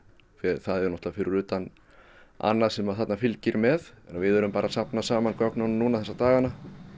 það er náttúrulega fyrir utan annað sem fylgir með við erum bara að safna gögnunum núna þessa dagana